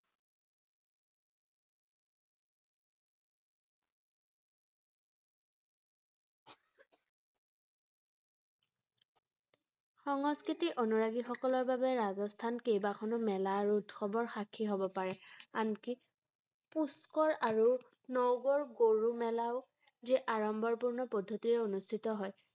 সংস্কৃতি অনুৰাগীসকলৰ বাবে ৰাজস্থান কেইবাখনো মেলা আৰু উৎসৱৰ সাক্ষী হ’ব পাৰে ৷ আনকি পুষ্কৰ আৰু নগৰ গৰু মেলাও, যি আড়ম্বৰপূৰ্ণ পদ্ধতিৰে অনুস্থিত হয় ৷